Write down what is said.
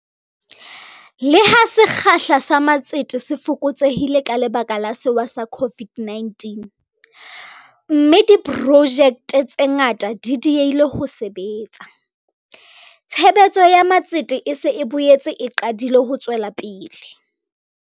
Le ha sekgahla sa matsete se fokotsehile ka lebaka la sewa sa COVID-19, mme diprojekte tse ngata di diehile ho sebetsa, tshebetso ya matsete e se e boetse e qadile ho tswela pele.